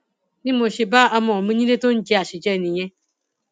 bí mo ṣe bá ọmọ mi nílée tó ń jẹ àṣejẹ nìyẹn